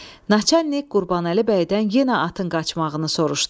Naçalik Qurbanəli bəydən yenə atın qaçmağını soruşdu.